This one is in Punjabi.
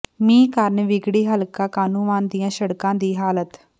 ਮੀਂਹ ਕਾਰਨ ਵਿਗੜੀ ਹਲਕਾ ਕਾਹਨੂੰਵਾਨ ਦੀਆਂ ਸੜਕਾਂ ਦੀ ਹਾਲਤ